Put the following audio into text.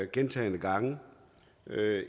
gentagne gange